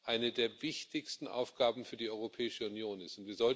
eine der wichtigsten Aufgaben für die Europäische Union ist.